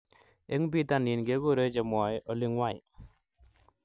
Eng bitonin kekure chemwee olingwai